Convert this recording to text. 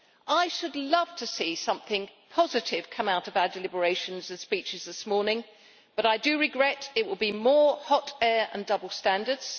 I should love to see something positive come out of our deliberations and speeches this morning, but I fear it will be more hot air and double standards.